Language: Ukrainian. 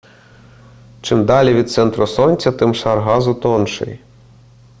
чим далі від центру сонця тим шар газу тонший